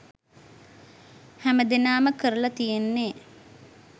හැම දෙනාම කරලා තියෙන්නේ